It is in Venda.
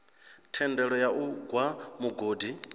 thendelo ya u gwa mugodi